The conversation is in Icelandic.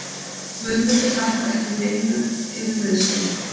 Guðmundur Hlakkar ekki í neinum yfir meiðslum.